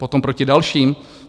Potom proti dalším?